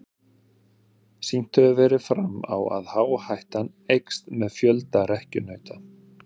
Sýnt hefur verið fram á að áhættan eykst með fjölda rekkjunauta.